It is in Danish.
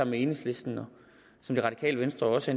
med enhedslisten og som det radikale venstre også